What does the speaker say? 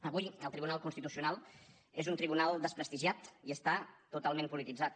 avui el tribunal constitucional és un tribunal desprestigiat i està totalment polititzat